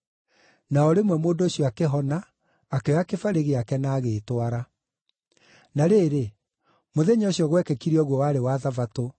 Na o rĩmwe mũndũ ũcio akĩhona, akĩoya kĩbarĩ gĩake, na agĩĩtwara. Na rĩrĩ, mũthenya ũcio gwekĩkire ũguo warĩ wa Thabatũ,